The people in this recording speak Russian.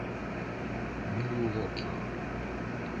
милуоки